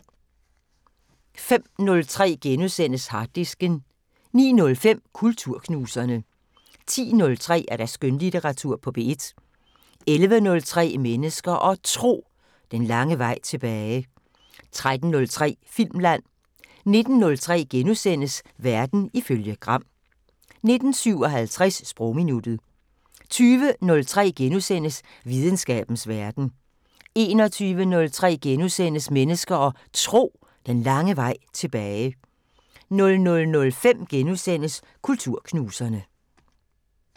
05:03: Harddisken * 09:05: Kulturknuserne 10:03: Skønlitteratur på P1 11:03: Mennesker og Tro: Den lange vej tilbage 13:03: Filmland 19:03: Verden ifølge Gram * 19:57: Sprogminuttet 20:03: Videnskabens Verden * 21:03: Mennesker og Tro: Den lange vej tilbage * 00:05: Kulturknuserne *